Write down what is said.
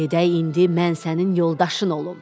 Gedək indi mən sənin yoldaşın olum.